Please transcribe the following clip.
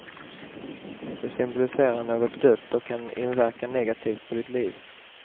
De symboliserar något dött och kan inverka negativt på ditt liv.